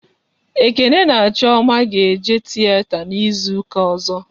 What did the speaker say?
Ekene na Chioma ga-eje tiyeta n'izuka ọzọ